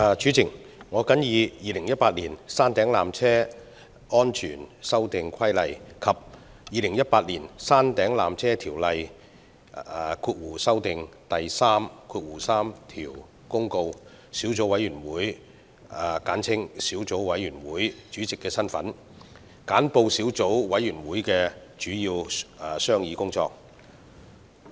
主席，我謹以《2018年山頂纜車規例》及《2018年山頂纜車條例條)公告》小組委員會主席的身份，簡報小組委員會的主要商議工作。